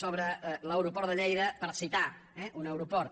sobre l’aeroport de lleida per citar eh un aeroport